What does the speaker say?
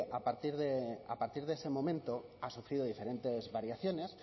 a partir de ese momento ha sufrido diferentes variaciones